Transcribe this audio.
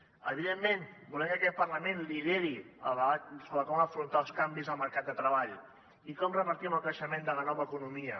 evidentment volem que aquest parlament lideri el debat sobre com afrontar els canvis al mercat de treball i com repartim el creixement de la nova economia